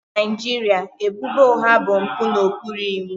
Na Naijiria, ebubo ụgha bụ mpụ n'okpuru iwu